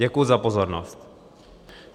Děkuji za pozornost.